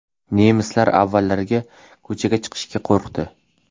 Nemislar avvaliga ko‘chaga chiqishga qo‘rqdi.